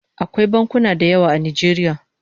Akwai bankuna da yawa a Najeriya